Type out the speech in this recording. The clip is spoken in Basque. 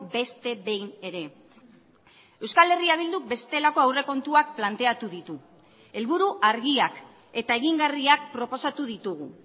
beste behin ere euskal herria bilduk bestelako aurrekontuak planteatu ditu helburu argiak eta egingarriak proposatu ditugu